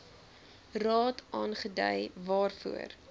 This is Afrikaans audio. raad aangedui waarvoor